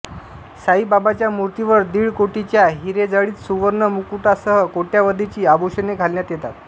साईबाबांच्या मूर्तीवर दीड कोटींच्या हिरेजडित सुवर्ण मुकुटासह कोट्यवधींची आभूषणे घालण्यात येतात